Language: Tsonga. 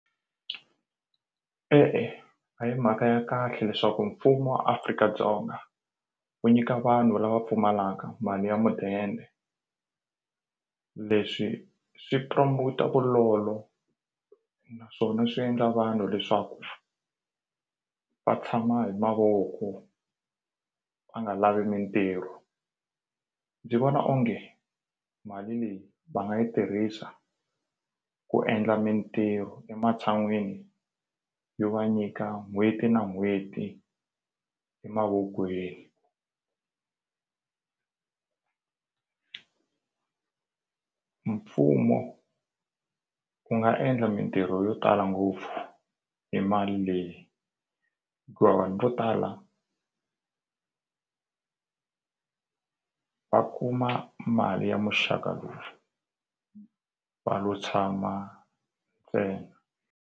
E-e a hi mhaka ya kahle leswaku mfumo wa Afrika-Dzonga wu nyika vanhu lava pfumalaka mali ya mudende leswi swi promote vulolo naswona swi endla vanhu leswaku va tshama hi mavoko va nga lavi mintirho ndzi vona onge mali leyi va nga yi tirhisa ku endla mintirho ematshan'wini yo va nyika n'hweti na n'hweti emavokweni mfumo wu nga endla mintirho yo tala ngopfu hi mali leyi hikuva vanhu vo tala va kuma mali ya muxaka lowu va lo tshama ntsena.